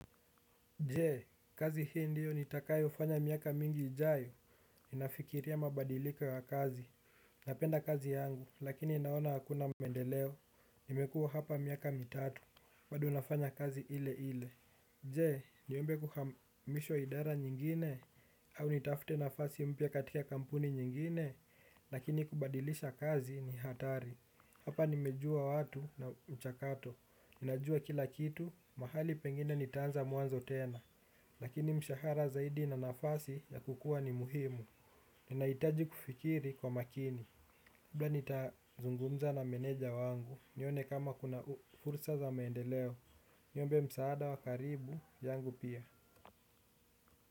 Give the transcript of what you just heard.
Jee, kazi hii ndiyo nitakayo fanya miaka mingi ijayo, ninafikiria mabadiliko ya kazi, napenda kazi yangu, lakini naona hakuna mendeleo, nimekuwa hapa miaka mitatu, bado nafanya kazi ile ile. Jee, niombe kuhamishwa idara nyingine, au nitafute nafasi mpya katika kampuni nyingine, lakini kubadilisha kazi ni hatari. Hapa nimejua watu na mchakato, najua kila kitu, mahali pengine nitaanza mwanzo tena. Lakini mshahara zaidi na nafasi ya kukua ni muhimu, inaitaji kufikiri kwa makini bla nitazungumza na meneja wangu, nione kama kuna fursa za maendeleo, niombe msaada wa karibu, yangu pia.